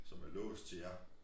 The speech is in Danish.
Som er låst til jer